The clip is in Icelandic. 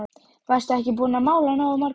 Varstu ekki búin að mála nógu margar?